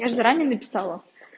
я же заранее написала